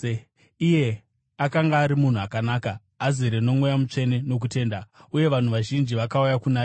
Iye akanga ari munhu akanaka, azere noMweya Mutsvene nokutenda, uye vanhu vazhinji vakauya kuna She.